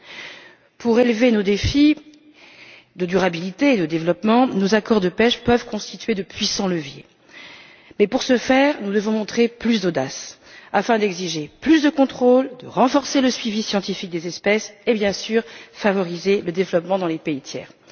Afin de relever nos défis de durabilité et de développement, nos accords de pêche peuvent constituer de puissants leviers, mais pour ce faire, nous devons montrer plus d'audace afin d'exiger plus de contrôle, de renforcer le suivi scientifique des espèces et, bien sûr, de favoriser le développement dans les pays tiers.